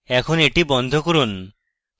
এখন এটি বন্ধ করুন